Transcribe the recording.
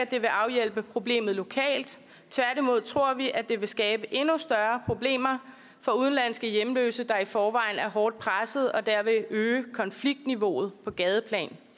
det vil afhjælpe problemet lokalt tværtimod tror vi at det vil skabe endnu større problemer for udenlandske hjemløse der i forvejen er hårdt pressede og derved øge konfliktniveauet på gadeplan